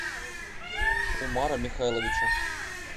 умара михайловича